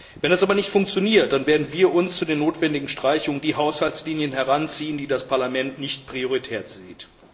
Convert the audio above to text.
Wenn das aber nicht funktioniert, dann werden wir für die notwendigen Streichungen die Haushaltslinien heranziehen, die das Parlament nicht als prioritär ansieht.